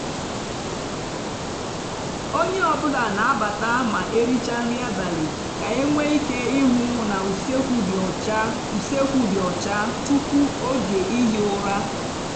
onye ọ bụla n'abata ma ericha nri abalị ka enwe ike ihu na usekwu dị ọcha usekwu dị ọcha tupu oge ihi ụra.